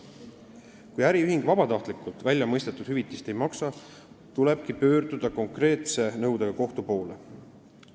Kui äriühing väljamõistetud hüvitist vabatahtlikult ei maksa, tulebki konkreetse nõudega kohtu poole pöörduda.